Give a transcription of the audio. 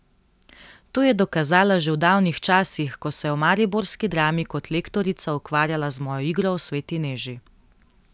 To je dokazala že v davnih časih, ko se je v mariborski Drami kot lektorica ukvarjala z mojo igro o sveti Neži.